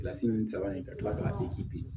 Kilasi ni sabanan in ka kila k'a